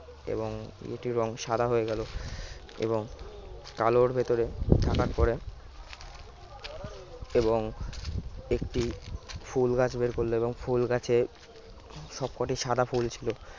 এবং একটির রং সাদা হয়ে গেল এবং কালোর ভেতরে থাকার পরে এবং একটি ফুল গাছ বের করল এবং ফুল গাছে সবকটি সাদা ফুল ছিল